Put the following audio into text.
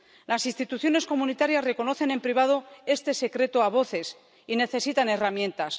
Las instituciones comunitarias reconocen en privado este secreto a voces y necesitan herramientas.